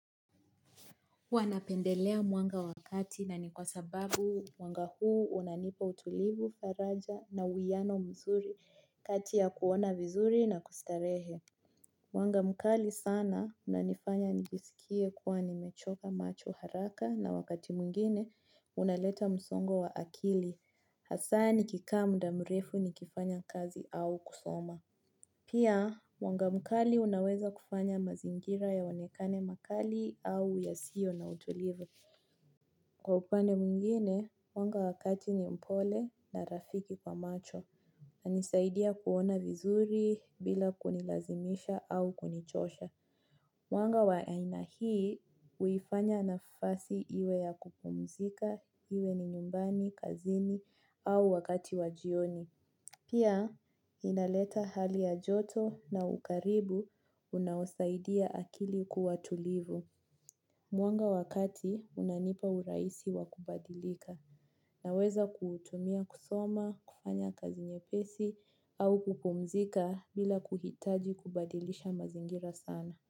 Huwa napendelea mwanga wa kati na ni kwa sababu mwanga huu unanipa utulivu, faraja na uiyano mzuri kati ya kuona vizuri na kustarehe. Mwanga mkali sana unanifanya nijisikie kuwa nimechoka macho haraka na wakati mwingine unaleta msongo wa akili. Hasa nikikaa mda mrefu nikifanya kazi au kusoma. Pia, mwanga mkali unaweza kufanya mazingira yaonekane makali au yasio na utulivu. Kwa upande mwingine, mwanga wa kati ni mpole na rafiki kwa macho. Hunisaidia kuona vizuri bila kunilazimisha au kunichosha. Mwanga wa aina hii huifanya nafasi iwe ya kupumzika iwe ni nyumbani, kazini au wakati wa jioni. Pia inaleta hali ya joto na ukaribu unaosaidia akili kuwa tulivu. Mwanga wa kati unanipa uraisi wa kubadilika naweza kuutumia kusoma, kufanya kazi nyepesi au kupumzika bila kuhitaji kubadilisha mazingira sana.